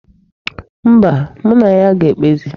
Mba, mụ na ya ga-ekpezi.